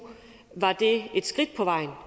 var det et skridt på vejen